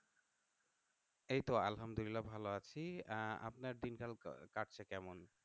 এইতো আলহামদুলিল্লাহ ভালো আছি আহ আপনার দিনকাল কাটছে কেমন?